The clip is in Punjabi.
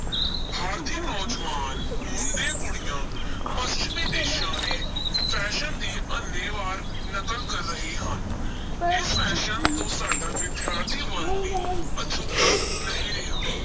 ਭਾਰਤੀ ਨੌਜਵਾਨ ਮੁੰਡੇ-ਕੁੜੀਆਂ ਪੱਛਮੀ ਦੇਸਾਂ ਦੇ fashion ਦੀ ਅੰਨ੍ਹੇ-ਵਾਹ ਨਕਲ ਕਰ ਰਹੇ ਹਨ ਇਸ fashion ਤੋਂ ਸਾਡਾ ਵਿਦਿਆਰਥੀ ਵਰਗ ਵੀ ਅਛੂਤਾ ਨਹੀਂ ਰਿਹਾ।